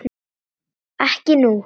Ekki nú.